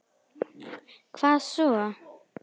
Hvað svo?